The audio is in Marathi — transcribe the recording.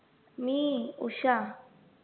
मी उषा.